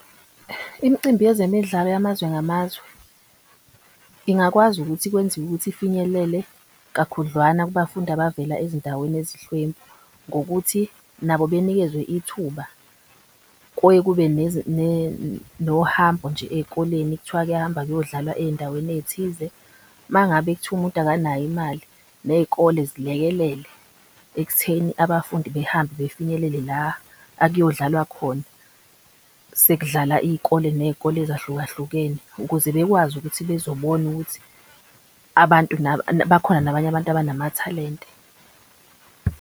Imicimbi yezemidlalo yamazwe ngamazwe ingakwazi ukuthi kwenziwe ukuthi ifinyelele kakhudlwana kubafundi abavela ezindaweni ezinhlwempu. Ngokuthi nabo benikeziwe ithuba nohambo nje ey'koleni kuthiwa kuyahamba kuyodlalwa ey'ndaweni ey'thize. Mangabe kuthiwa umuntu akanayo imali ney'kole zilekelele ekutheni abafundi behambe befinyelele la akuyodlalwa khona. Sekudlala iy'kole ney'kole ezahlukahlukene ukuze bekwazi ukuthi bezobona ukuthi abantu bakhona nabanye abantu abanamathalente.